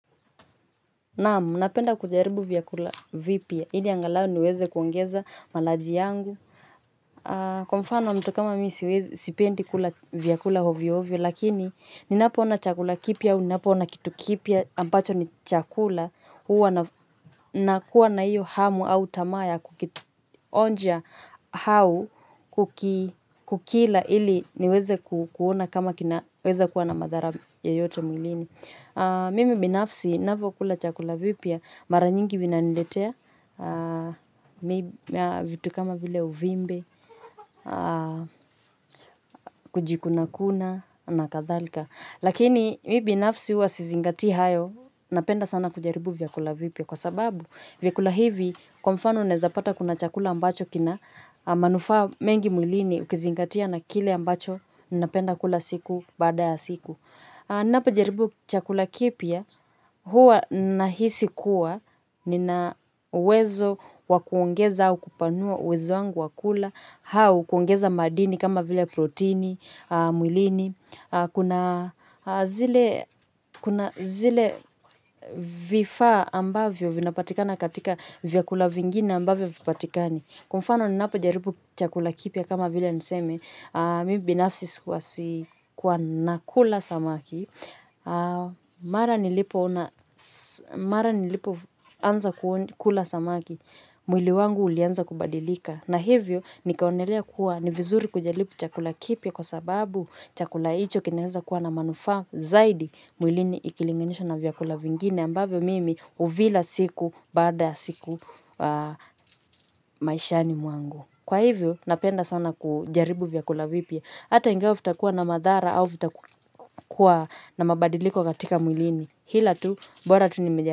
Naam, napenda kujaribu vyakula vipya. Ili angalau niweze kuongeza malaji yangu. Kwa mfano mtu kama mimi sipendi kula vyakula ovyoovyo, lakini ninapoona chakula kipya au, ninapoona kitu kipya, ambacho ni chakula huwa nakuwa na hiyo hamu au tamaa ya kukionja au kukila ili niweze kuona kama kinaweza kuwa na madhara yoyote mwilini. Mimi binafsi navyokula chakula vipya mara nyingi vinaniletea vitu kama vile uvimbe, kujikunakuna na kadhalika lakini mimi binafsi huwa sizingatii hayo napenda sana kujaribu vyakula vipya kwa sababu vyakula hivi kwa mfano unaeza pata kuna chakula ambacho kina manufaa mengi mwilini ukizingatia na kile ambacho napenda kula siku baada ya siku. Napojaribu chakula kipya huwa nahisi kuwa nina uwezo wa kuongeza au kupanua uwezo wangu wa kula au kuongeza madini kama vile protini, mwilini, kuna zile zile vifaa ambavyo vinapatikana katika vyakula vingine ambavyo havipatikani. Kwa mfano ninapojaribu chakula kipya kama vile niseme, mimi binafsi huwa kuwa nakula samaki, mara nilipoanza kula samaki, mwili wangu ulianza kubadilika. Na hivyo nikaonelea kuwa ni vizuri kujaribu chakula kipya kwa sababu chakula hicho kinaeza kuwa na manufaa zaidi mwilini ikilinganishwa na vyakula vingine ambavyo mimi huvila siku baada ya siku maishani mwangu. Kwa hivyo napenda sana kujaribu vyakula vipya. Hata ingawa vitakuwa na madhara au vitakuwa na mabadiliko katika mwilini ila tu bora tu nimeja.